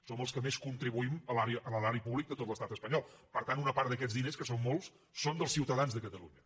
som els que més contribuïm a l’erari públic de tot l’estat espanyol per tant una part d’aquests diners que són molts són dels ciutadans de catalunya